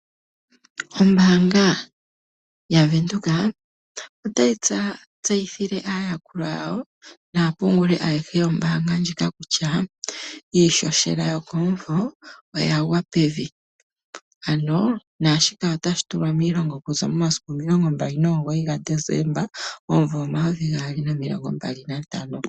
Ombaanga yaVenduka otayi tseyithile aayakulwa yawo naapunguli ayehe yombaanga ndjika kutya iihohela yokomumvo oya gwa pevi, ano naashika otashi tulwa miilonga okuza momasiku omilongo mbali nomugoyi gaDesemba omumvo omayovi gaali nomilongo mbali nantano.